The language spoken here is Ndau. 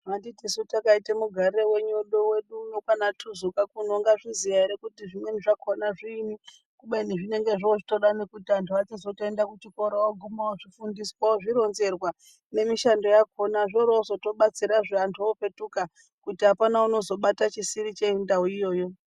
Anditi su takaite mugarire wedu uno kwaanaTuzuka kuno ungazviziya ere kuti zvimweni zvakona zviinyi kubeni zvinenge zvoochitoda kuti anhu achizotoenda kuchikora oguma ozvifundiswa ozvironzerwa nemishando yakona zvoorozotobatsira antu opetuka kuti apana unozobate chisiri chendau iyoyo.